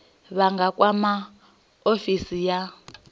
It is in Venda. vha nga kwama ofisi ya